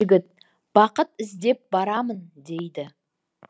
бақыт іздеп барамын дейді